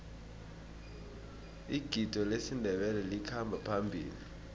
igido lesindebele likhamba phambili